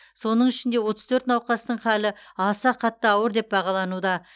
соның ішінде отыз төрт науқастың халі аса қатты ауыр деп бағалануда